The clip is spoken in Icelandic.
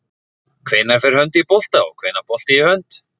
Hvenær fer hönd í bolta og hvenær bolti í hönd?